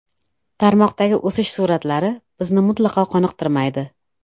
Tarmoqdagi hozirgi o‘sish sur’atlari bizni mutlaqo qoniqtirmaydi.